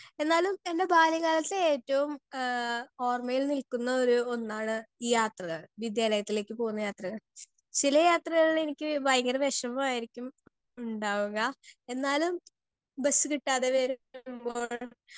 Speaker 2 എന്നാലും എൻ്റെ ബാല്യക്കാലത്ത് ഏറ്റവും ഏഹ് ഓർമ്മയിൽ നിൽക്കുന്ന ഒരു ഒന്നാണ് ഈ യാത്രകൾ വിദ്യാലത്തിലേക്ക് പോകുന്ന യാത്രകൾ. ചില യാത്രകളിൽ എനിക്ക് ഭയങ്കര വേഷമായിരിക്കും ഉണ്ടാവുക എന്നാലും ബസ്സ് കിട്ടാതെ